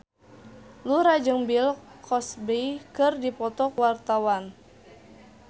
Yura jeung Bill Cosby keur dipoto ku wartawan